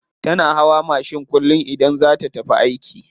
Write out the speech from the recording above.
Tana hawa mashin kullum idan za ta tafi aiki.